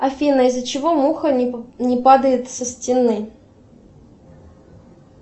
афина из за чего муха не падает со стены